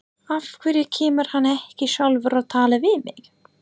Af hverju kemur hann ekki sjálfur og talar við mig?